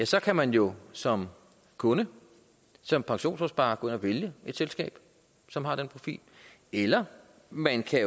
så kan man jo som kunde som pensionsopsparer gå ind og vælge et selskab som har den profil eller man kan